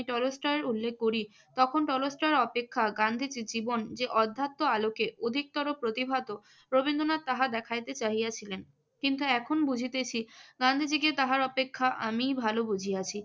টলস্টয়ের উল্লেখ করি। তখন টলস্টয় অপেক্ষা গান্ধীজীর জীবন যে অধ্যাত্ম আলোকে অধিকতর প্রতিভাত রবীন্দ্রনাথ তাহা দেখাইতে চাহিছিলেন। কিন্তু এখন বুঝিতেছি গান্ধীজীকে তাহার অপেক্ষা আমিই ভালো বুঝিয়াছি।